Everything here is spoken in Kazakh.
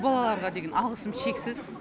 о балаларға деген алғысым шексіз